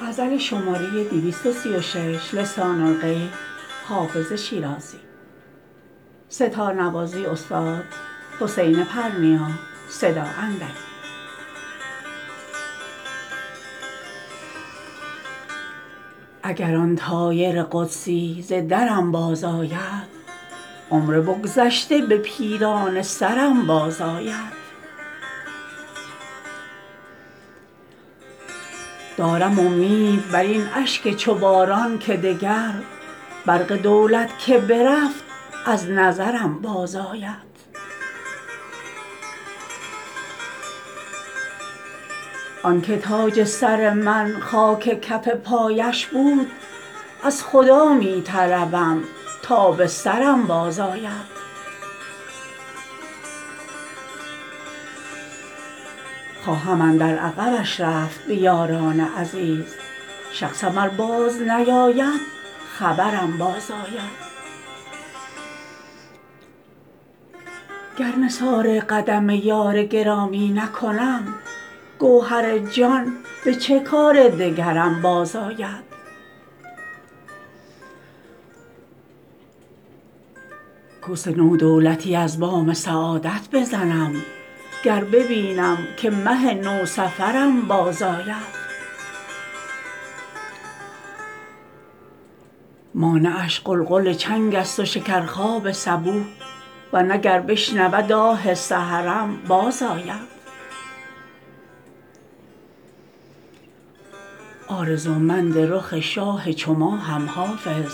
اگر آن طایر قدسی ز درم بازآید عمر بگذشته به پیرانه سرم بازآید دارم امید بر این اشک چو باران که دگر برق دولت که برفت از نظرم بازآید آن که تاج سر من خاک کف پایش بود از خدا می طلبم تا به سرم بازآید خواهم اندر عقبش رفت به یاران عزیز شخصم ار بازنیاید خبرم بازآید گر نثار قدم یار گرامی نکنم گوهر جان به چه کار دگرم بازآید کوس نو دولتی از بام سعادت بزنم گر ببینم که مه نوسفرم بازآید مانعش غلغل چنگ است و شکرخواب صبوح ور نه گر بشنود آه سحرم بازآید آرزومند رخ شاه چو ماهم حافظ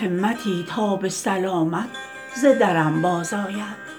همتی تا به سلامت ز درم بازآید